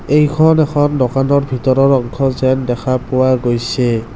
এইখন এখন দোকানৰ ভিতৰৰ অংশ যেন দেখা পোৱা গৈছে।